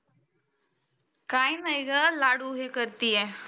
काही नाही गं लाडु हे करती आहे.